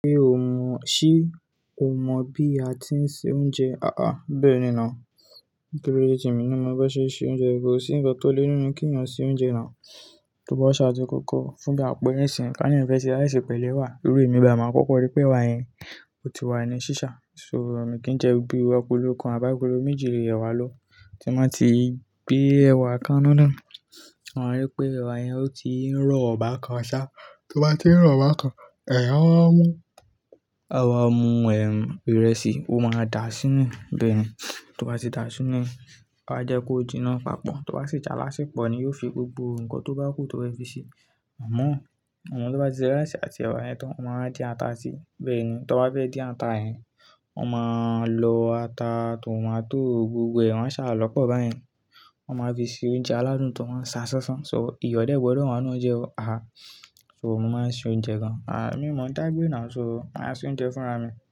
Ṣé o mọ̀, ṣe o mọ̀ bí a ti ń se oúnjẹ? Haha, bẹ́ẹ̀ni now. Torí pé jẹ́ èmi ni mo fẹ́ ṣe se oúnjẹ, èmi kò sí ń gbọ́ tó léwu ni kí ń yàn sí oúnjẹ náà. Tó bá wá ṣáájú kókó fúnbi àpọ̀ ìrẹsì, ká ní òun fẹ́ se ìrẹsì pẹ̀lú ẹ̀wà. Lórí èmi bàa máa kọ́kọ́ rí pé ẹ̀wà yẹn ò ti wà ní ṣíṣá. So òun ni kí jẹ jú agolo kan àbí agolo méjì ẹ̀wà lọ́. Tí wọ́n bá ti gbé ẹ̀wà kanáná, wọ́n rí pé ẹ̀wà yẹn ó ti ń rọ̀ ba kan ṣá. Tó bá ti ń rọ̀ ba kan, èyàn á wáa mú, àwa mú, ẹm, ìrẹsì ó máa dà á sínú, bẹ́ẹ̀ ni. Tó bá ti dà á sínú, a wá jẹ́ kó jinná papọ̀. Tó bá sì jẹ́ alásè pò ni ó fi gbogbo nǹkan tó bá kù tó bá fi ṣe. Àmọ́, àmọ́ tó bá ti se ìrẹsì àti ẹ̀wà yẹn tán, wọ́n máa din ata síi, bẹ́ẹ̀ ni. Tó bá fẹ́ dín ata yẹn, wọ́n máa lọ ata, tomato gbogbo ẹ̀ wọn a ṣàl ọ́pọ́ báyẹn. Wọn máa fi ṣe oúnjẹ aládùn tó máa ń ṣá ṣánṣán. So ìyọ̀ dé gbọdọ̀ wá nù oúnjẹ ọ́. Àá, so mo máa ń ṣe oúnjẹ gan. Àá, mi ò mọ̀ táígbè náà, so wọ́n á ṣe oúnjẹ fúnra mi.